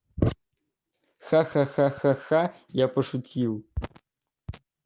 ха ха ха ха я пошутил